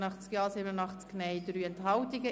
86 Ja, 87 Nein und 3 Enthaltungen.